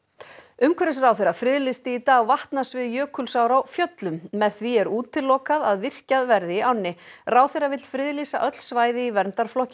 umhverfisráðherra friðlýsti í dag vatnasvið Jökulsár á Fjöllum með því er útilokað að virkjað verði í ánni ráðherra vill friðlýsa öll svæði í verndarflokki